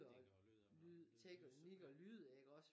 Teknikere og lyd og lyd og lys